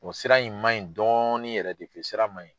O sira in man ɲi dɔɔnin yɛrɛ de tɛ sira man ɲi.